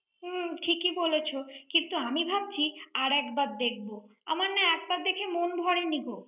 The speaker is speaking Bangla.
হুম ঠিকই বলেছ। কিন্তু আমি ভাবছি, আর একবার দেখব। আমার না একবার দেখে মন ভরেনি গো।